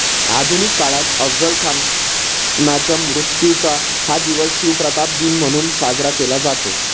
आधुनिक काळात अफझल खानच्या मृत्यूचा हा दिवस शिवप्रताप दिन म्हणून साजरा केला जातो.